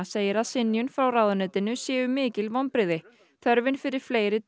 segir að synjun frá ráðuneytinu sé mikil vonbrigði þörfin fyrir fleiri